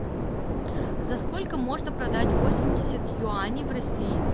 за сколько можно продать восемьдесят юаней в россии